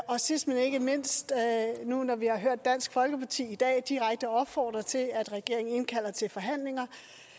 og sidst men ikke mindst nu når vi har hørt dansk folkeparti i dag direkte opfordre til at regeringen indkalder til forhandlinger